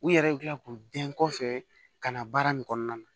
U yɛrɛ bɛ kila k'u bɛn kɔfɛ ka na baara nin kɔnɔna na